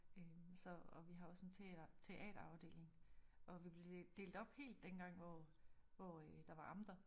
Øh så og vi har også en teater teaterafdeling og vi blev delt op helt den hvor hvor øh der var amter